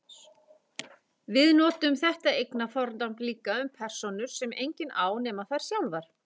Við notum þetta eignarfornafn líka um persónur sem enginn á nema þær sjálfar.